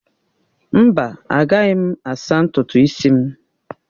Mba, agaghị m asaa ntutu isi m!